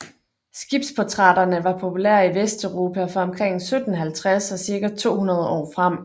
Skibsportrætterne var populære i Vesteuropa fra omkring 1750 og cirka 200 år frem